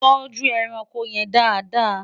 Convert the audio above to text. tọjú ẹranko yèn Dàda